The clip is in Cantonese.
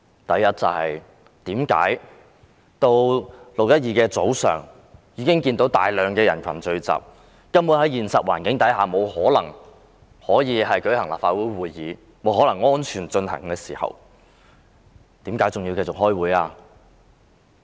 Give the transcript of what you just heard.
第一，他們在6月12日早上看到大量人群聚集，現實環境根本沒有可能讓立法會會議安全進行，為甚麼還要繼續開會？